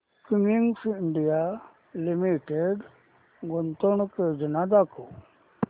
Cummins India Limited गुंतवणूक योजना दाखव